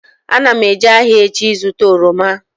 Ana m eje ahịa echi ịzụta oroma